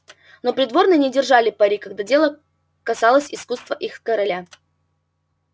но придворные не держали пари когда дело касалось искусства их короля